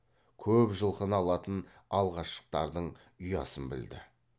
көп жылқыны алатын алғаштылардың ұясын білді